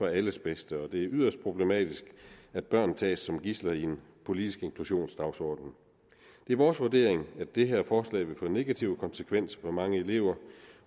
alles bedste og det er yderst problematisk at børn tages som gidsler i en politisk inklusionsdagsorden det er vores vurdering at det her forslag vil få negative konsekvenser for mange elever